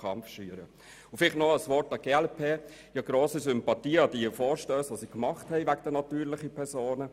Noch ein Wort an die Adresse der glp-Fraktion: Ich habe grosse Sympathien für Ihre Vorstösse betreffend die natürlichen Personen.